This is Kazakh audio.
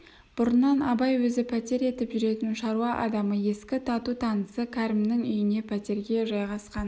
бұрыннан абай өзі пәтер етіп жүретін шаруа адамы ескі тату-танысы кәрімнің үйіне пәтерге жайғасқан